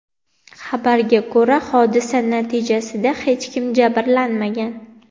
Xabarga ko‘ra, hodisa natijasida hech kim jabrlanmagan.